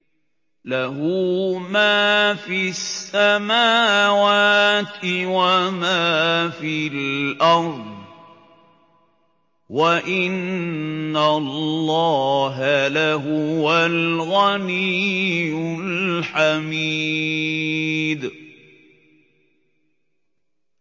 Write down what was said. لَّهُ مَا فِي السَّمَاوَاتِ وَمَا فِي الْأَرْضِ ۗ وَإِنَّ اللَّهَ لَهُوَ الْغَنِيُّ الْحَمِيدُ